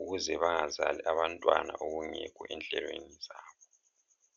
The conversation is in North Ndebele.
ukuze bangazali abantwana okungekho enhlelweni zabo.